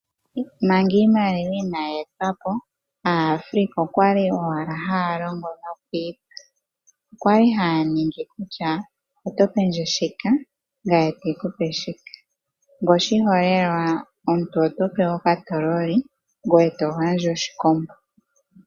Manga iimaliwa inaa yi etwa ko, aAfrika okwa li owala haya longo nokwiipa. Okwa li haya ningi kutya, oto pendje shika, ngaye tii ku pe shika. Oshiholelwa: Omuntu oto pewa okatoololi, ngoye to gandja oshikombo.